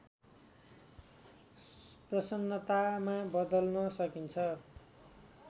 प्रसन्नतामा बदल्न सकिन्छ